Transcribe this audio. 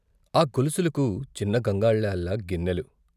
ఆ గొలుసులకు చిన్న గంగాళాల్లా గిన్నెలు.